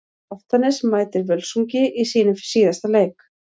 Álftanes mætir Völsungi í sínum síðasta leik.